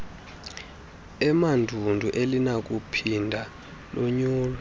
emandundu alinakuphinda lonyulwe